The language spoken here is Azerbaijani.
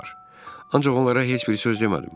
Ancaq onlara heç bir söz demədim.